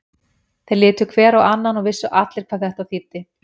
Þeir litu hver á annan og vissu allir hvað þetta þýddi.